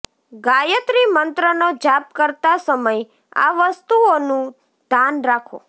ગાયત્રી મંત્રનો જાપ કરતા સમય આ વસ્તુઓ નું ધાન રાખો